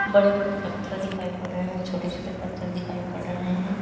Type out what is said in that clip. बड़े-बड़े पत्थर दिखाइ पड़ रहे हैं छोटे-छोटे पत्थर दिखाइ पड़ रहे हैं।